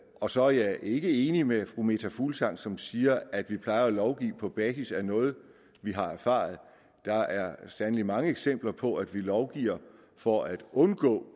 og så er jeg ikke enig med fru meta fuglsang som siger at vi plejer at lovgive på basis af noget vi har erfaret der er sandelig mange eksempler på at vi lovgiver for at undgå